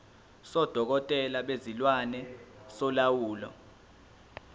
sodokotela bezilwane solawulo